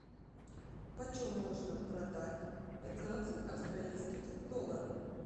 почем можно продать пятнадцать австралийских долларов